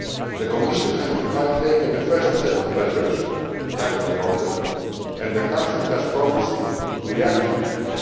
well. The Commission has meanwhile taken a first set of measures to tackle the problem, and the Council has promised to react swiftly.